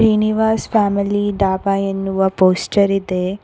Srinivasa family dhaba ಎನ್ನುವ poster ಇದೆ.